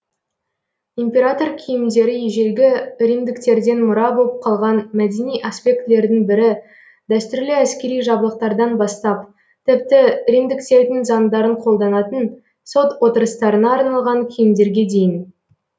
император киімдері ежелгі римдіктерден мұра боп қалған мәдени аспектілердің бірі дәстүрлі әскери жабдықтардан бастап тіпті римдіктердің заңдарын қолданатын сот отырыстарына арналған киімдерге дейін